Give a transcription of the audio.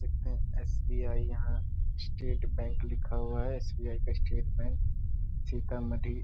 देखते हैं एस.बी.आई. यहाँ स्टेट बैंक लिखा हुआ है एस.बी.आई. का स्टेट बैंक सीतामढ़ी --